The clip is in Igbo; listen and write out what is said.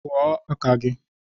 Kụọ aka gị!